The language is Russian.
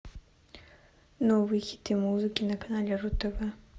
новые хиты музыки на канале ру тв